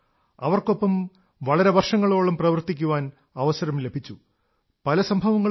അവർക്കൊപ്പം വളരെ വർഷങ്ങളോളം പ്രവർത്തിക്കാൻ അവസരം ലഭിച്ചു പല സംഭവങ്ങളുമുണ്ട്